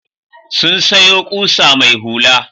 Sun sayo ƙusa mai hula.